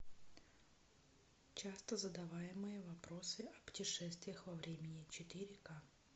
часто задаваемые вопросы о путешествиях во времени четыре ка